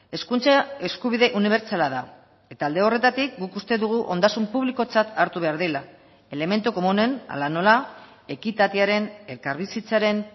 hezkuntza eskubide unibertsala da eta alde horretatik guk uste dugu ondasun publikotzat hartu behar dela elementu komunen hala nola ekitatearen elkarbizitzaren